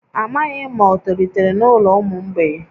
Amaghị m ma o tolitere n’ụlọ ụmụ mgbei